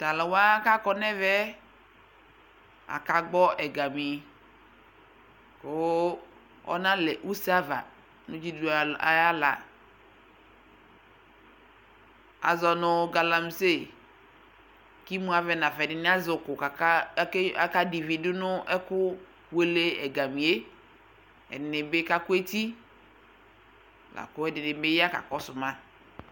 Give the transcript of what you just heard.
Tʋ alʋ wa kʋ akɔ nʋ ɛmɛ, akagbɔ ɛgami kʋ ɔnalɛ use ava nʋ dzidudu al ayʋ aɣla Azɔ nʋ galamise kʋ imuavɛ nafa Ɛdɩnɩ azɛ ʋkʋ kʋ aka ake akadɛ ivi dʋ nʋ ɛkʋwele ɛgami yɛ Ɛdɩnɩ bɩ kakʋ eti la kʋ ɛdɩnɩ ya kakɔsʋ ma